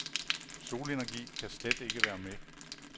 Solenergi kan slet ikke være med.